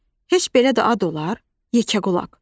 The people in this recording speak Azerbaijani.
Heç belə də ad olar, yekəqulaq.